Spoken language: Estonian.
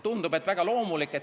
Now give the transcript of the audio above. Tundub, et see on väga loomulik.